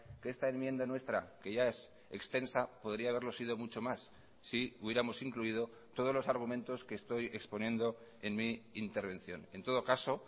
que esta enmienda nuestra que ya es extensa podría haberlo sido mucho más si hubiéramos incluido todos los argumentos que estoy exponiendo en mi intervención en todo caso